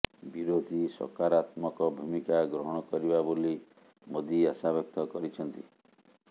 ବିରୋଧୀ ସକାରାତ୍ମକ ଭୂମିକା ଗ୍ରହଣ କରିବା ବୋଲି ମୋଦି ଆଶା ବ୍ୟକ୍ତ କରିଛନ୍ତି